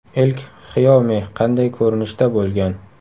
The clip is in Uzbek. Ilk Xiaomi qanday ko‘rinishda bo‘lgan?